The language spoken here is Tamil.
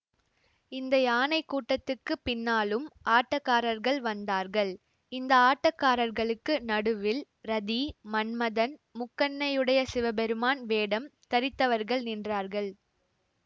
இந்த யானை கூட்டத்துக்கு பின்னாலும் ஆட்டக்காரர்கள் வந்தார்கள் இந்த ஆட்டக்காரர்களுக்கு நடுவில் ரதி மன்மதன் முக்கண்ணையுடைய சிவபெருமான் வேடம் தரித்தவர்கள் நின்றார்கள்